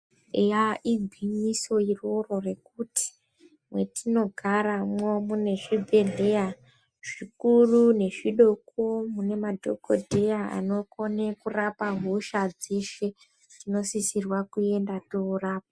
Eya igwinyiso iroro rekuti mwetinogaramwo mwune zvibhedhleya zvikuru nezvidoko mune madhokodheya anokone kurapa hosha dzeshe. Tinosisirwa kuenda torapwa.